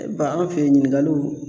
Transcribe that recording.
ban an' fe ɲininkaliw